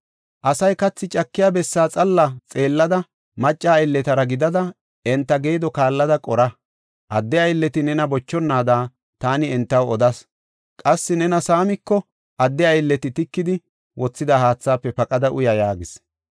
Asay kathi cakiya bessaa xeella xeellada macca aylletara gidada enta geedo kaallada qora. Adde aylleti nena bochonaada taani entaw odas. Qassi nena saamiko, adde aylleti tikidi wothida haathaafe paqada uya” yaagis.